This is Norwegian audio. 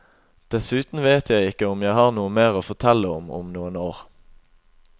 Dessuten vet jeg ikke om jeg har noe mer å fortelle om om noen år.